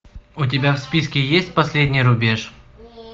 у тебя в списке есть последний рубеж